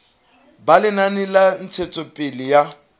ba lenaneo la ntshetsopele ya